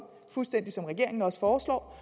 fuldstændig som regeringen også foreslår